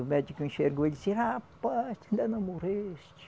O médico enxergou e disse, rapaz, ainda não morreste.